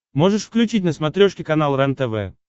можешь включить на смотрешке канал рентв